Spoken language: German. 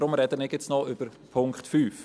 Deshalb spreche ich jetzt noch über Punkt 5.